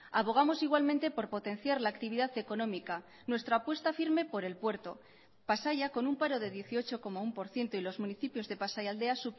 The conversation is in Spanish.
abogamos igualmente por potenciar la actividad económica nuestra apuesta firme por el puerto pasaia con un paro de dieciocho coma uno por ciento y los municipios de pasaialdea